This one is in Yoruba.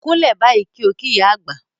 Kúnlẹ̀ báyìí kí ó kí ìyá àgbà!